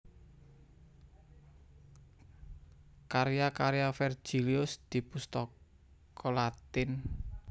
Karya karya Vergilius di Pustaka Latin